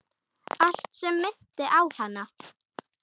Allt sem minnti á hana.